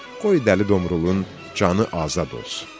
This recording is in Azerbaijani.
Qoy Dəli Domrulun canı azad olsun.